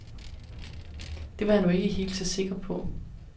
Det var jeg nu ikke helt så sikker på.